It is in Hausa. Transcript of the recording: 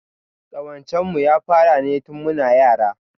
Ƙawancen mu ya fara ne tin muna yara